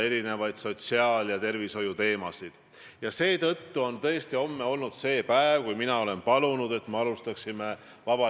See on see probleem, austatud peaminister, ja selle tõttu me küsime teie käest küsimusi väärtuste ja väärtusvalikute kohta.